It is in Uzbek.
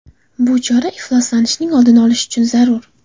Bu chora ifloslanishning oldini olish uchun zarur.